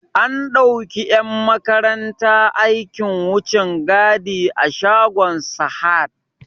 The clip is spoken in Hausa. An dauki 'yan makaranta aikin wucin gadi a shagon Sahad.